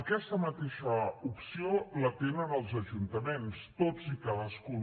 aquesta mateixa opció la tenen els ajuntaments tots i cadascun